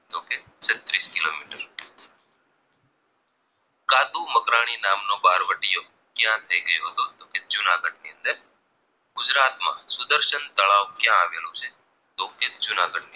મણિ નામનો બહારવટિયો ક્યાં થાય ગયો હતો તો કે જૂનાગઢની અંદર ગુજરાતમાં સુદર્શન તળાવ ક્યાં આવેલું છે તો કે જૂનાગઢની